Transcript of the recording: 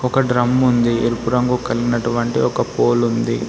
ఒక డ్రమ్ ఉంది ఎరుపు రంగు కలిగినటువంటి ఒక పోల్ ఉంది.